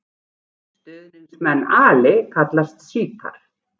Stuðningsmenn Ali kallast sjítar.